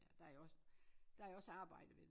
Der jo også der jo også arbejde ved det